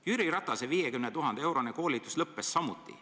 Jüri Ratase 50 000-eurone koolitus lõppes samuti.